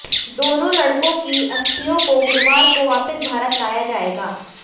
दोनों लड़कों की अस्थियों को गुरुवार को वापस भारत लाया जाएगा